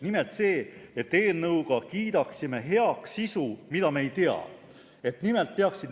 Nimelt see, et eelnõu heakskiitmisega kiidaksime heaks sisu, mida me veel ei tea.